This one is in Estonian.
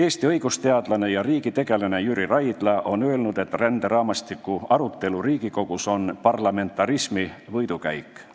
Eesti õigusteadlane ja riigitegelane Jüri Raidla on öelnud, et ränderaamistiku arutelu Riigikogus on parlamentarismi võidukäik.